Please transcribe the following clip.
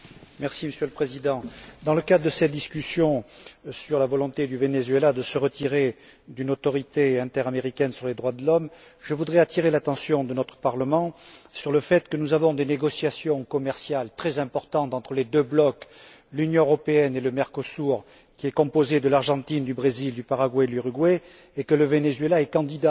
Monsieur le Président, dans le cadre de ces discussions sur la volonté du Venezuela de se retirer d'une autorité interaméricaine sur les droits de l'homme, je voudrais attirer l'attention de notre Parlement sur le fait que des négociations commerciales très importantes sont en cours entre les deux blocs l'Union européenne et le Mercosur, qui est composé de l'Argentine, du Brésil, du Paraguay et de l'Uruguay et que le Venezuela est candidat